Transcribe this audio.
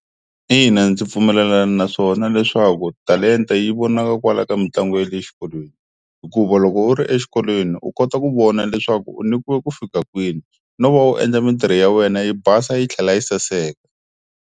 Ina ndzi pfumelelana naswona leswaku talenta yi vonaka kwala ka mitlangu ya le exikolweni hikuva loko u ri exikolweni u kota ku vona leswaku u nyikiwe ku fika kwini no va u endla mintirho ya wena yi basa yi tlhela yi saseka.